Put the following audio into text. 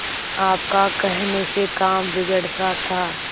आपका कहने से काम बिगड़ता था